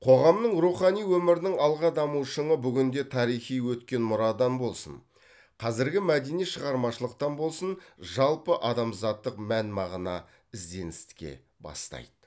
қоғамның рухани өмірінің алға даму шыңы бүгінде тарихи өткен мұрадан болсын қазіргі мәдени шығармашылықтан болсын жалпыадамзаттық мән мағына ізденіске бастайды